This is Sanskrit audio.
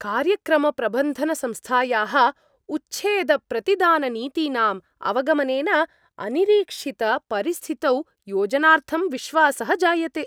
कार्यक्रमप्रबन्धनसंस्थायाः उच्छेदप्रतिदाननीतीनाम् अवगमनेन अनिरीक्षितपरिस्थितौ योजनार्थं विश्वासः जायते।